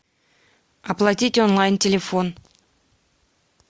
оплатить онлайн телефон